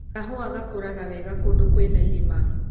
Kahua gakũraga wega kũndũ kwĩna irĩma.